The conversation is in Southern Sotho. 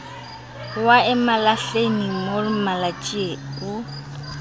wa emalahleni mof malatjie o